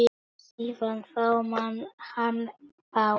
Síðan þá man hann fátt.